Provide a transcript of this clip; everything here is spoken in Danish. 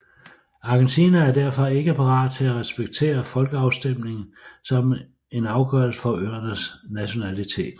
Argentina er derfor ikke parat til at respektere folkeafstemningen som en afgørelse for øernes nationalitet